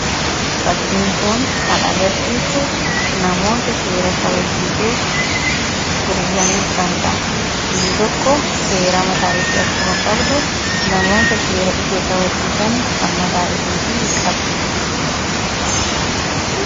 Fakkiin kun kan agarsiisuu, namoota seera kabachisiisuuf hiriiranii jiranidha. Biyyi tokko seera mataa ishee akkuma qabdu namoota seera ishee kabachiisan kan mataa ishee qabdi.